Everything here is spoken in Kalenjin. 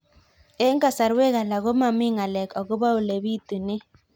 Eng' kasarwek alak ko mami ng'alek akopo ole pitunee